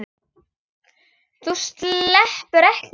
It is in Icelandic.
Þú sleppur ekki!